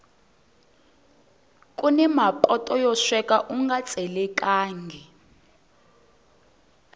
kuni mapoto yo sweka unga tselekangi